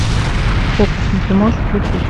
фокусники можешь включить